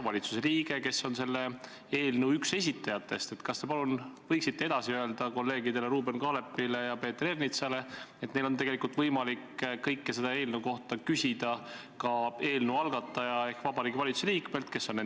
26. septembril 2019 ehk päev pärast arutluse all oleva eelnõu esimest lugemist Riigikogus pikendas Euroopa Liidu Nõukogu oma otsusega EUNAVFOR Med/Sophia missiooni mandaati kuni 2020. aasta 31. märtsini.